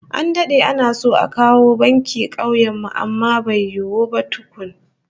An dade ana so a kawo banki kauyen mu amma bai yiwu ba tukun